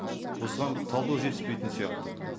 осыған талдау жетіспейтін сияқты